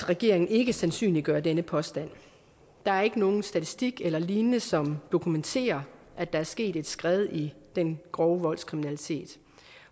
regeringen ikke sandsynliggør denne påstand der er ikke nogen statistik eller lignende som dokumenterer at der er sket et skred i den grove voldskriminalitet